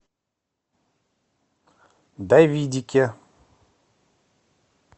давидике